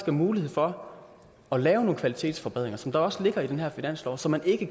er mulighed for at lave nogle kvalitetsforbedringer som også ligger i den her finanslov som man ikke